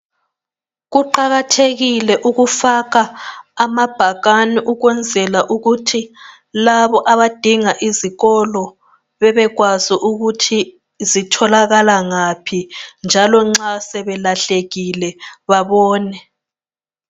Kuqakathekile ukufaka amabhakani ukwenzala ukuthi labo abadinga izikolo bebekwazi ukuthi zitholakala ngaphi, njalo nxa sebelahlekile babone.